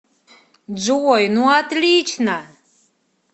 джой ну отлично